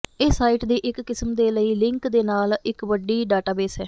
ਇਹ ਸਾਈਟ ਦੀ ਇੱਕ ਕਿਸਮ ਦੇ ਲਈ ਲਿੰਕ ਦੇ ਨਾਲ ਇੱਕ ਵੱਡੀ ਡਾਟਾਬੇਸ ਹੈ